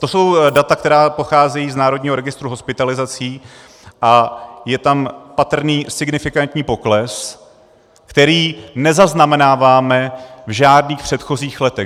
To jsou data, která pocházejí z národního registru hospitalizací a je tam patrný signifikantní pokles, který nezaznamenáváme v žádných předchozích letech.